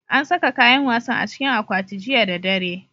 An saka kayan wasan a cikin akwati jiya da dare.